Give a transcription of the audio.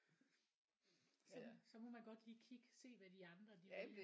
Så så må man godt lige kig se hvad de andre de